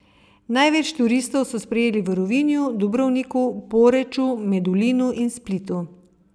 Največ turistov so sprejeli v Rovinju, Dubrovniku, Poreču, Medulinu in Splitu.